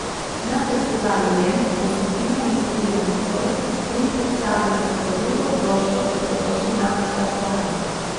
Na festivalu Lent bo skupina nastopila nocoj in predstavila svojo drugo ploščo Dobrodošli na okean.